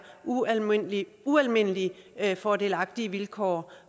ualmindelig ualmindelig fordelagtige vilkår